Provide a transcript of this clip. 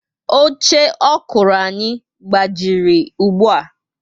Oche ọkụrụ anyị gbawara ùgbúà